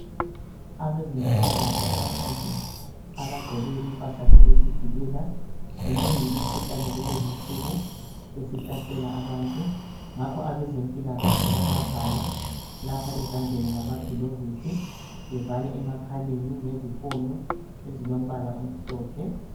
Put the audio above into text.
Abezempilakahle ababili abagqoke impahla zokuzivikela imnengi imhuhlane kulezi insuku esihlasela abantu ngakho abezempilakahle bayavala lapha ezandleni ngamaglovisi bevale emakhaleni ngezifoyo ezilompala omhlophe.